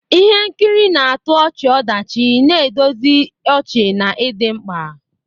Ihe nkiri na-atọ ọchị-ọdachi na-edozi ọchị na ịdị mkpa.